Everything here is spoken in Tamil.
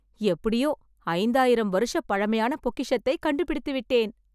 எப்படியோ, ஐந்தாயிரம் வருஷ பழமையான பொக்கிஷத்தை கண்டுபிடித்து விட்டேன்